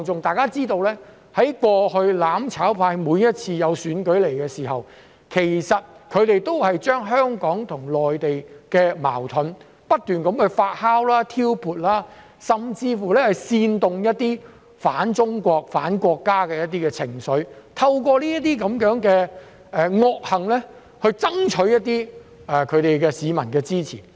大家知道，過去每次舉行選舉時，"攬炒派"都會將香港和內地的矛盾不斷發酵和挑撥，甚至煽動一些反中國、反國家的情緒，透過這些惡行爭取市民的支持。